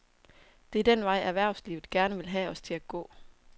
Det er den vej, erhvervslivet gerne vil have os til at gå.